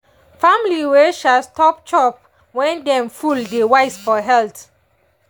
family wey dey um stop chop when dem full dey wise for health.